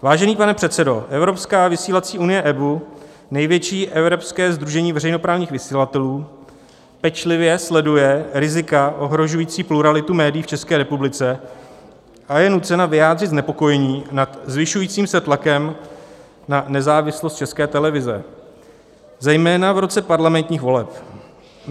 "Vážený pane předsedo, Evropská vysílací unie EBU, největší evropské sdružení veřejnoprávních vysílatelů, pečlivě sleduje rizika ohrožující pluralitu médií v České republice a je nucena vyjádřit znepokojení nad zvyšujícím se tlakem na nezávislost České televize, zejména v roce parlamentních voleb.